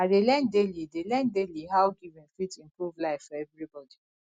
i dey learn daily dey learn daily how giving fit improve life for everybody